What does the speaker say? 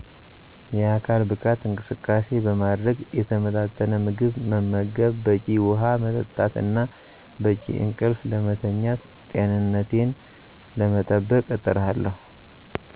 የአካል ብቃት እንቅስቃሴ በማድረግ፣ የተመጣጠነ ምግብ መመገብ፣ በቂ ውሃ መጠጣት እና በቂ እንቅልፍ ለማተኛት ጤንነቴን ለመጠበቅ እጥራለሁ